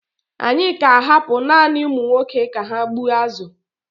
Anyị ka ahapụ naanị ụmụ nwoke ka ha gbuo azụ.